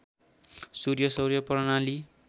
सूर्य सौर्य प्रणाली